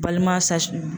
Balima sasinin